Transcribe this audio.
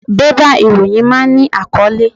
Bébà ìròyìn máa ń ní àkọ́lé.